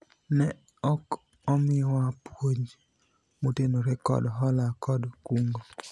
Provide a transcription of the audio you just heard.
ne ok omiwa puonj motenore kod hola kod kungo